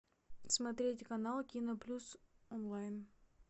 смотреть канал киноплюс онлайн